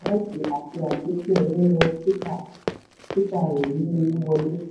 nínú tita tita rẹ̀ yí owó wọlé.